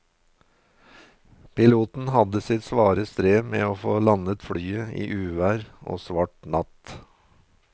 Piloten hadde sitt svare strev med å få landet flyet i uvær og svart natt.